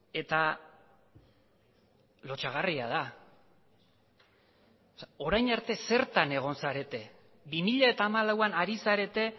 eta lotsagarria da orain arte zertan egon zarete bi mila hamalauan ari zarete